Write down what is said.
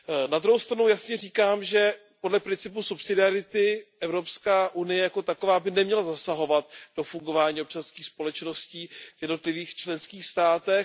Na druhou stranu jasně říkám, že podle principu subsidiarity Evropská unie jako taková by neměla zasahovat do fungování občanských společností v jednotlivých členských státech.